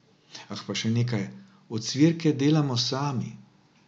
Ah, pa še nekaj: 'Ocvirke delamo sami.